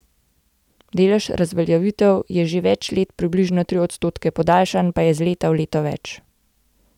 Delež razveljavitev je že več let približno tri odstotke, podaljšanj pa je iz leta v leto več.